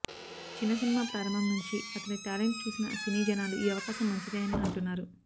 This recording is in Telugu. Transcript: చిన్న సినిమా ప్రారంభం నుంచి అతని టాలెంట్ చుసిన సినీ జనాలు ఈ అవకాశం మంచిదే అని అంటున్నారు